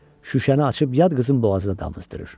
Şüşəni açıb yad qızın boğazına damızdırır.